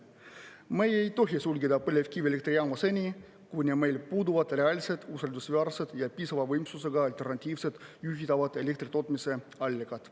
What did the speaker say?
Me ei tohi sulgeda põlevkivielektrijaamu seni, kuni meil puuduvad reaalsed usaldusväärsed ja piisava võimsusega alternatiivsed juhitavad elektritootmise allikad.